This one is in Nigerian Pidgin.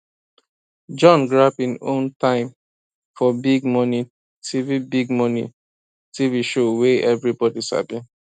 john grab im own time for big morning tv big morning tv show wey everybody sabi